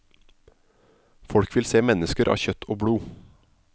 Folk vil se mennesker av kjøtt og blod.